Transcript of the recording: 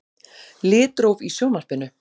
Litróf í Sjónvarpinu.